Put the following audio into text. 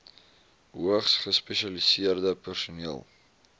hoogs gespesialiseerde personeel